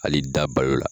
Hali da balo la